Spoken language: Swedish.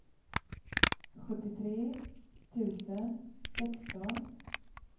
sjuttiotre tusen sexton